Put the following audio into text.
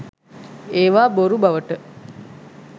ඒවා බොරු බවට